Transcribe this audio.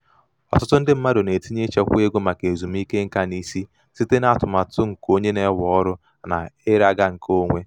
ọtụtụ ndị mmadụ na-etinye ichekwa ego maka ezumike nka n'isi site n'atụmatụ nke nke onye na-ewe ọrụ na ira ga nke onwe.